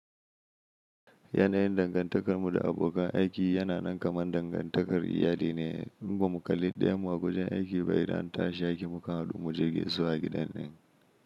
Yanayin dangantakarmu da abokan aiki yana nan kaman dangantakar iyali ne, kuma kalli ɗaya mu a wajen aiki bai da an tashi aiki muka haɗu mu je zuwa gidan ɗin.